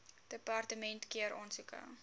departement keur aansoeke